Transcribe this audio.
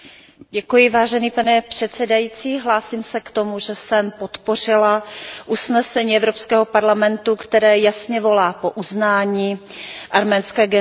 Vážený pane předsedající, hlásím se k tomu, že jsem podpořila usnesení Evropského parlamentu, které jasně volá po uznání arménské genocidy.